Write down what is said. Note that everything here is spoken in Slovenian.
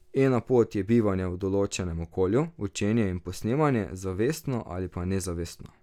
Ena pot je bivanje v določenem okolju, učenje in posnemanje, zavestno ali pa nezavestno.